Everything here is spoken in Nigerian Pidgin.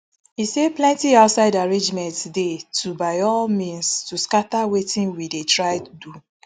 e say plenti outside arrangement dey to by al means to scata wetin we dey try do